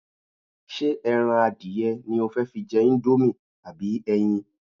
Ṣé ẹran adìẹ ni o fẹ́ fi jẹ íńdómì àbí ẹyin?